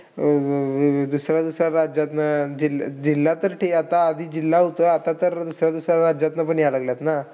अं दुसऱ्या-दुसऱ्या राज्यातनं. जिल्हा जिल्हा तर ठीक आता, आधी जिल्हा होतं. आता तर दुसऱ्या-दुसऱ्या राज्यातनं पण येईला लागलेय ना.